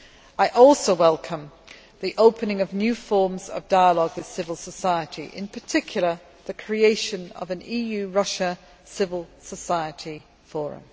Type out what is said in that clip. I also welcome the opening of new forms of dialogue with civil society, in particular the creation of an EU Russia Civil Society Forum.